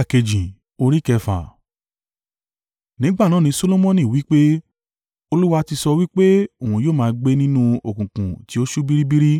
Nígbà náà ni Solomoni wí pé, “Olúwa ti sọ wí pé òun yóò máa gbé nínú òkùnkùn tí ó ṣú biribiri;